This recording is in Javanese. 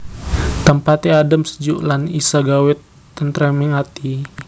Tempate adhem sejuk lan isa gawé tentreming ati